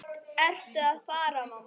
Hvert ertu að fara, mamma?